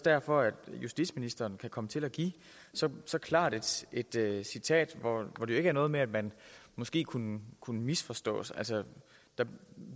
derfor at justitsministeren kan komme til at give så så klart et citat citat hvor det jo ikke er noget med at man måske kunne kunne misforstås altså der